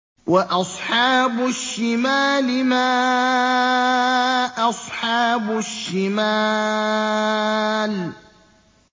وَأَصْحَابُ الشِّمَالِ مَا أَصْحَابُ الشِّمَالِ